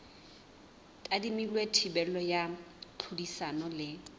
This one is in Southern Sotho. tadimilwe thibelo ya tlhodisano le